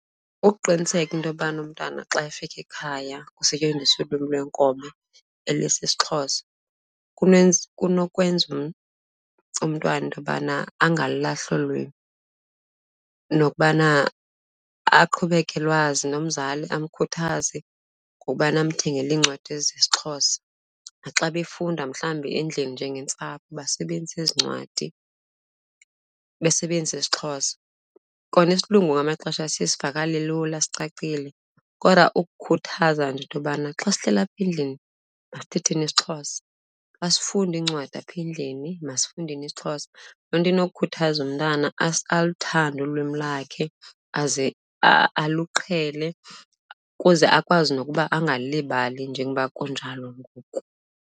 Ukuqiniseka into yobana umntwana xa efika ekhaya kusetyenziswe ilwimi lwenkobe elisiXhosa kunenza, kunokwenza umntwana into yobana angalilahli olu lwimi nokubana aqhubeke elwazi, nomzali amkhuthaze ngokubana amthengile iincwadi zesiXhosa. Naxa befunda mhlawumbi endlini njengentsapho basebenzise ezi ncwadi, besebenzise isiXhosa. Kona isilungu ngamanye amaxesha siye sivakale lula, sicacile kodwa ukukhuthaza nje into yobana, xa sihleli apha endlini masithetheni isiXhosa. Xa sifunda iincwadi apha endlini masifundeni isiXhosa. Loo nto inokukhuthaza umntana aluthande ulwimi lakhe, aze aluqhele ukuze akwazi nokuba angalilibali njengoba kunjalo ngoku.